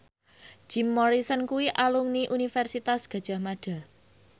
Jim Morrison kuwi alumni Universitas Gadjah Mada